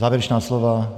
Závěrečná slova?